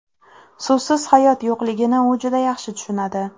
Suvsiz hayot yo‘qligini u juda yaxshi tushunadi.